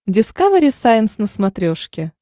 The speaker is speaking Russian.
дискавери сайенс на смотрешке